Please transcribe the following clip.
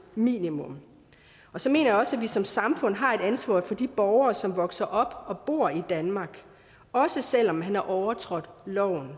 minimum og så mener jeg også at vi som samfund har et ansvar for de borgere som vokser op og bor i danmark også selv om man har overtrådt loven